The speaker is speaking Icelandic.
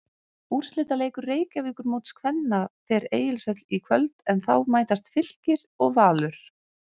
Úrslitaleikur Reykjavíkurmóts kvenna fer Egilshöll í kvöld en þá mætast Fylkir og Valur.